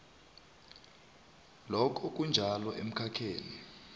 lokhu kunjalo emkhakheni